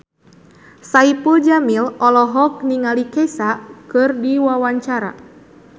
Saipul Jamil olohok ningali Kesha keur diwawancara